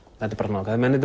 þetta er